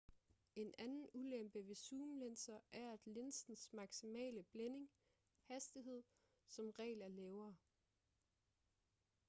en anden ulempe ved zoomlinser er at linsens maksimale blænding hastighed som regel er lavere